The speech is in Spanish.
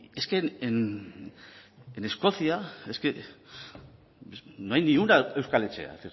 es que en escocia no hay ni una euskal etxea